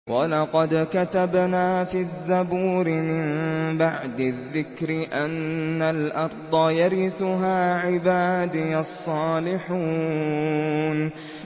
وَلَقَدْ كَتَبْنَا فِي الزَّبُورِ مِن بَعْدِ الذِّكْرِ أَنَّ الْأَرْضَ يَرِثُهَا عِبَادِيَ الصَّالِحُونَ